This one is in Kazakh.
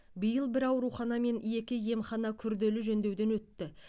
биыл бір аурухана мен екі емхана күрделі жөндеуден өтті